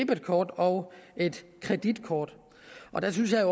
debetkort og et kreditkort der synes jeg